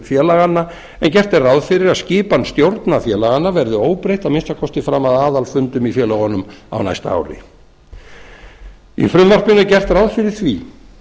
félaganna en gert er ráð fyrir að skipan stjórna félaganna verði óbreytt að minnsta kosti fram að aðalfundum í félögunum á næsta ári í frumvarpinu er gert ráð fyrir því